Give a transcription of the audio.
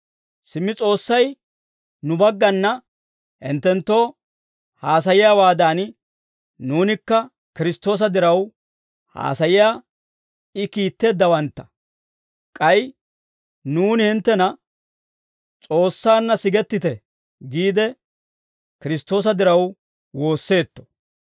Simmi S'oossay nu baggana hinttenttoo haasayiyaawaadan, nuunikka Kiristtoosa diraw haasayiyaa I kiitteeddawantta; k'ay nuuni hinttena, «S'oossaanna sigettite» giide, Kiristtoosa diraw woosseetto.